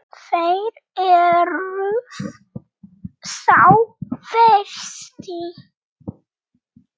Þér eruð sá versti.